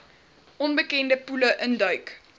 onbekende poele induik